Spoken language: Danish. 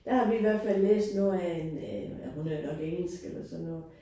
Der har vi i hvert fald læst noget af en en ja hun er vel nok engelsk eller sådan noget